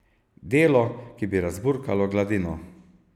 Delo, ki bi razburkalo gladino.